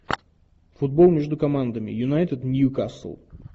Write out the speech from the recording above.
футбол между командами юнайтед ньюкасл